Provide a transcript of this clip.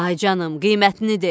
Ay canım, qiymətini de.